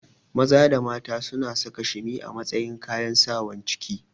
Maza da mata suna saka shimi a matsayin kayan Sawan ciki